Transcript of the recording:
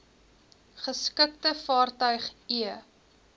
geskikte vaartuig e